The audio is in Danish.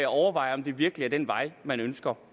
overveje om det virkelig er den vej man ønsker